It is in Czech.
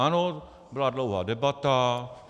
Ano, byla dlouhá debata.